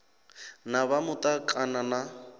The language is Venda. na vha muta kana na